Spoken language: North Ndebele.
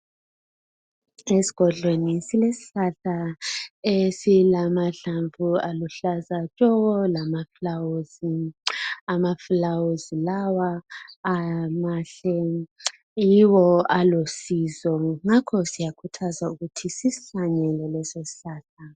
Esigodlweni silesihlahla esilamahlamvu aluhlaza tshoko lamafulawuzi. Amafulawuzi lawa mahle, yiwo alusizo ngakho siyakhuthazwa ukuthi sisihlanyele leso sihlahla.